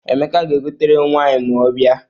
Emeka ga-egotere m waịn ma ọ bịawa.